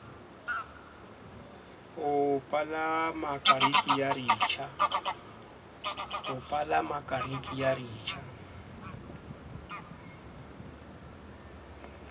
ho palama kariki ya ritjha